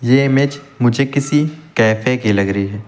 ये इमेज मुझे किसी कैफे की लग रही है।